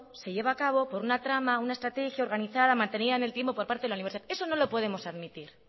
se lleva a cabo por una trama una estrategia organizada mantenida en el tiempo por parte de la universidad eso no lo podemos admitir